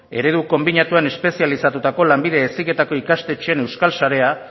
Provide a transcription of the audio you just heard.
eredu konbinatuan espezializatutako lanbide heziketako ikastetxeen euskal sarea